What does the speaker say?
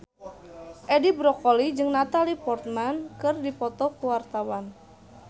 Edi Brokoli jeung Natalie Portman keur dipoto ku wartawan